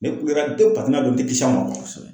Ne kulela tepe paseke ye y'a dɔn n te kisi a ma.